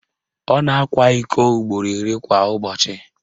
Ọ na-akwa iko ugboro iri kwa ụbọchị